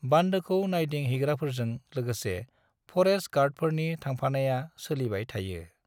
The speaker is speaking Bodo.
बान्दोखौ नायदिं हैग्राफोरजों लोगोसे फरेस्ट गार्डफोरनि थांफानाया सोलिबाय थायो।